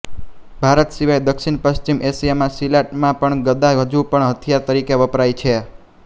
ભારત સિવાય દક્ષિણપશ્ચિમ એશિયામાં સિલાટમાં પણ ગદા હજુ પણ હથિયાર તરીકે વપરાય છે